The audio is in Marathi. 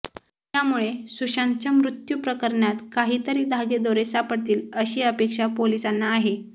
यामुळे सुशांतच्या मृत्यू प्रकरणात काहीतरी धागेदोरे सापडतील अशी अपेक्षा पोलिसांना आहे